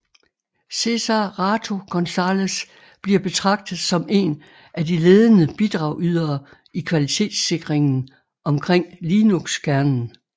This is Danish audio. Cesar Rato González bliver betragtet som én af de ledende bidragydere i kvalitetssikringen omkring linuxkernen